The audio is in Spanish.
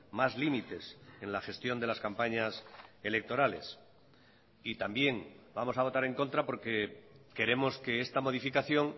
más límites en la gestión de las campañas electorales y también vamos a votar en contra porque queremos que esta modificación